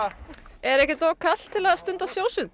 er ekkert of kalt til að stunda